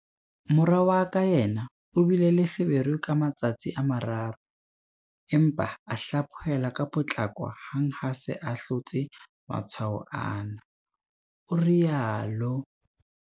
Mora wa ka yena o bile le feberu ka matsatsi a mararo, empa a hlaphohelwa ka potlako hang ha a se a hlotse matshwao ana, o rialo.